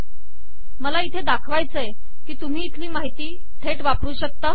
मला इथे दाखवायचे आहे की तुम्ही इथली माहिती थेट वापरू शकता